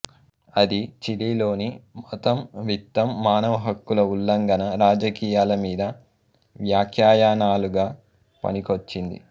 అది చిలీలోని మతం విత్తం మానవహక్కుల ఉల్లంఘన రాజకీయాల మీద వ్యాఖ్యానాలుగా పనికొచ్చింది